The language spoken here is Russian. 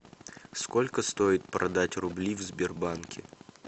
сколько стоит продать рубли в сбербанке